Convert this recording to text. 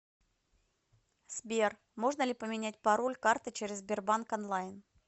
сбер можно ли поменять пароль карты через сбербанк онлайн